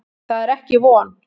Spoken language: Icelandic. Það er ekki von.